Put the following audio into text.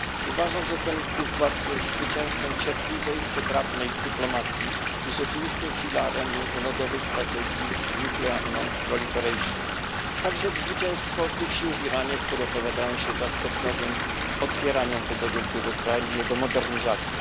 Uważam, że ten układ jest zwycięstwem cierpliwej, wytrawnej dyplomacji i rzeczywistym filarem międzynarodowej strategii nierozprzestrzeniania broni jądrowej, a także zwycięstwem tych sił w Iranie, które opowiadają się za stopniowym otwieraniem tego wielkiego kraju i za jego modernizacją.